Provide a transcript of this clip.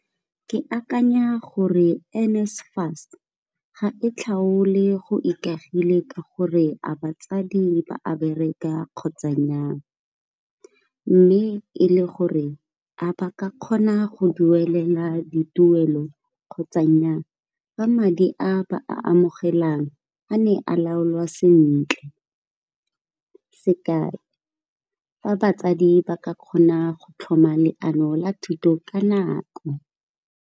Ke akanya gore NSFAS ga e tlhaole go ikagile ka gore a batsadi ba a bereka kgotsa nnyaa mme e le gore a ba ka kgona go duelela dituelo kgotsa nnyaa, fa madi a ba a amogelang a ne a laolwa sentle, sekai, fa batsadi ba ka kgona go tlhoma leano la thuto ka nako.